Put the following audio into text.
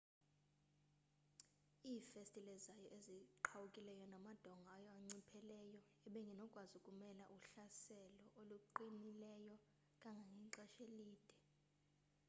iifestile zayo ezirhuwkileyo namadonga ayo anciphileyo ebengenokwazi ukumela uhlaselo oluqinilileyo kangangexesha elide